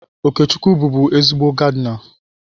Okechukwu bụbu ezigbo gaadịna.